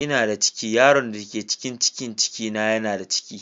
Ina da ciki, yaron da ke cikin cikin na yana da ciki